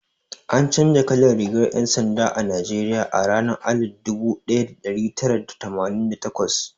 An canza kalar rigar 'yan sanda a Najeriya a ranar alif dubu daya da dari tara da tamanin da takwas.